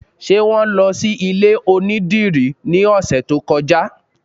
Ṣé wọn lọ sí ilé onídìrí ní ọ̀sẹ̀ tó kọjá?